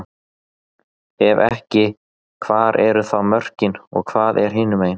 Ef ekki, hvar eru þá mörkin og hvað er hinumegin?